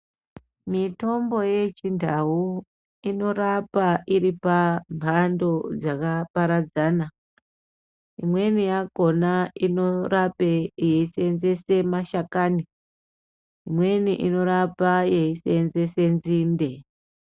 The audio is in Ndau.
Mitombo yechiNdau inorapa iri pambando dzaka paradzana, imweni yakona inorape eiseenzese mashakani imweni inorapa yeiseenzese nzinde.